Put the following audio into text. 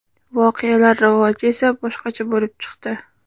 Voqealar rivoji esa boshqacha bo‘lib chiqdi.